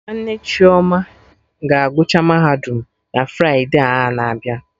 Nwanne Chioma ga agụcha Mahadum na Fride a na-abịa